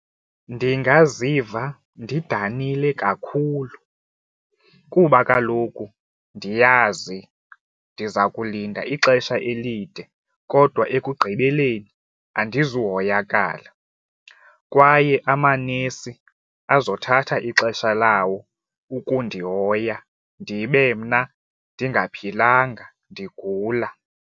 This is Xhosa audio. Ndingaziva ndidanile kakhulu kuba kaloku ndiyazi ndiza kulinda ixesha elide kodwa ekugqibeleni andizohoyakala kwaye amanesi azothatha ixesha lawo ukundihoya ndibe mna ndingaphilanga ndigula.